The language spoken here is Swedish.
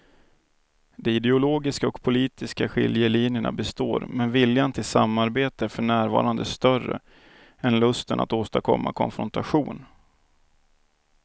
De ideologiska och politiska skiljelinjerna består men viljan till samarbete är för närvarande större än lusten att åstadkomma konfrontation.